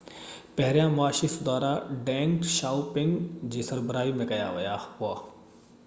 پهريان معاشي سُڌارا ڊينگ شائوپنگ جي سربراهي ۾ ڪيا ويا هئا